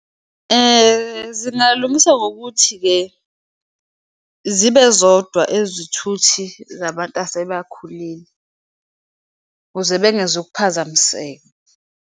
Zingalungiswa ngokuthi-ke, zibe zodwa ezithuthi zabantu asebakhulile, kuze bengezukuphazamiseka.